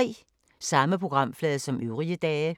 Samme programflade som øvrige dage